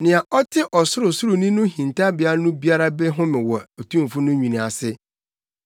Nea ɔte Ɔsorosoroni no hintabea no biara bɛhome wɔ Otumfo no nwini ase.